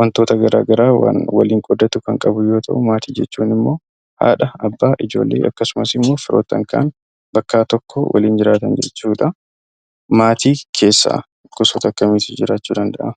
wantoota gara garaa kan waliin qooddatu kan qabuu yoo ta’u, maatii jechuun immoo haadha, abbaa, ijoollee akkasumas immoo firoottan kaan bakka tokko waliin jiraatan jechuudha. Maatii keessa gosoota akkamiitu jiraachuu danda’a?